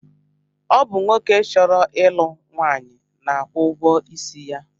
Ọ bụ nwoke chọrọ ịlụ nwaanyị na-akwụ ụgwọisi ya